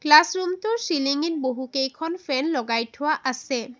Classroom টোৰ চিলিংঙিত বহুকেইখন ফেন লগাই থোৱা আছে।